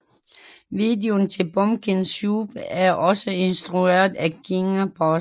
Videoen til Pumpkin Soup er også instrueret af Kinga Burza